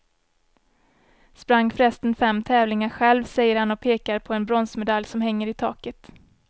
Sprang förresten fem tävlingar själv, säger han och pekar på en bronsmedalj som hänger i taket.